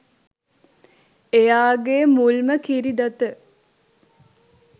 එයාගෙ මුල්ම කිරි දත